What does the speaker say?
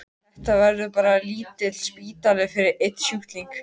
Þetta verður bara lítill spítali fyrir einn sjúkling.